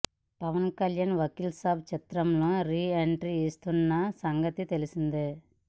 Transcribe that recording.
పవన్ కళ్యాణ్ వకీల్ సాబ్ చిత్రంతో re entry ఇస్తున్న సంగతి తెలిసిందే